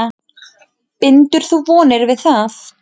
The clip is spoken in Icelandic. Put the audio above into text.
Bindur þú vonir við það?